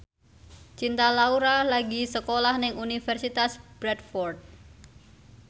Cinta Laura lagi sekolah nang Universitas Bradford